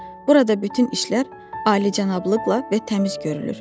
Burada bütün işlər alicənablıqla və təmiz görülür.